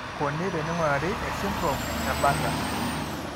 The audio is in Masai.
Kaji eikoni teneing'urari esindirom eBartter?